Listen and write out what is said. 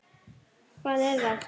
Hvaðan ertu þá?